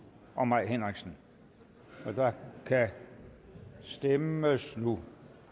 og mai henriksen og der kan stemmes nu